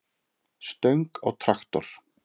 stöng á traktor.